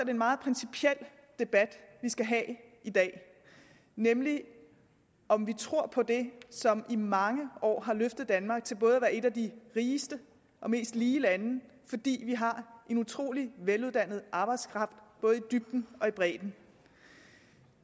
en meget principiel debat vi skal have i dag nemlig om vi tror på det som i mange år har løftet danmark til både at være et af de rigeste og mest lige lande fordi vi har en utrolig veluddannet arbejdskraft både i dybden og bredden